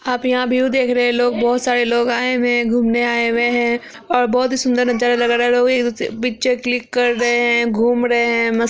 आप यहाँ व्यू देख रहे हैं लोग बोहोत सारे लोग आए हुए है घूमने आए हुए है ओर बोहोत ही सुंदर नजारा लग रहा है लोग एक दूसरे कि पिक्चर क्लिक कर रहे हैं घूम रहे हैं मस--